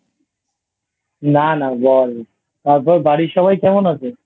না না বল তারপর বাড়ির সবাই কেমন আছে?